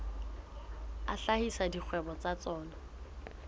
a hlahisa dikgwebo tsa tsona